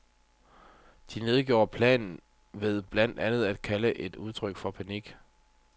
De nedgjorde planen ved blandt andet at kalde den et udtryk for panik.